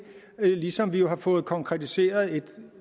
ligesom vi jo har fået konkretiseret et